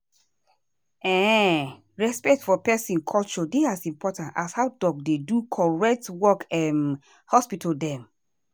ehnnn respect for peson culture dey as important as how doc dey do correct workum for hospital dem.